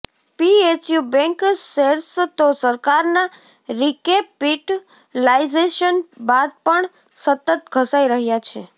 PSU bank shares તો સરકારના recapitalisation બાદ પણ સતત ઘસાઈ રહ્યા છે